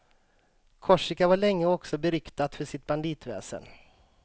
Korsika var länge också beryktat för sitt banditväsen.